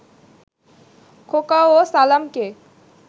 খোকা ও সালামকে